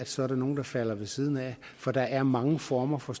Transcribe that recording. så er nogle der falder ved siden af for der er mange former for